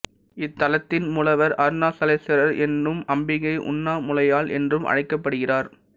இத்தலத்தின் மூலவர் அருணாசலேசுவரர் என்றும் அம்பிகை உண்ணாமுலையாள் என்றும் அழைக்கப்படுகிறார்